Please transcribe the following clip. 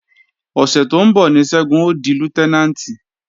Ọ̀sẹ̀ tó ń bọ̀ ní Ṣẹ́gun ó di Lútẹ́nàǹtì